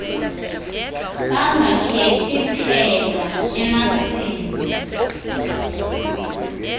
bangakhethi phela emasini